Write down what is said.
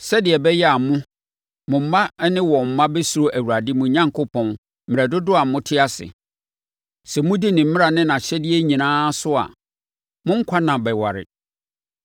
sɛdeɛ ɛbɛyɛ a mo, mo mma ne wɔn mma bɛsuro Awurade mo Onyankopɔn mmerɛ dodoɔ a mote ase. Sɛ modi ne mmara ne nʼahyɛdeɛ nyinaa so a, mo nkwa nna bɛware.